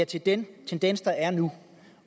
til den tendens der er nu